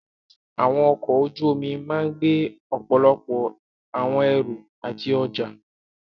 Àwọn ọkọ̀ ojú omi máà gbé ọ̀pọ̀lọpọ̀ àwọn ẹrù àti ọjá.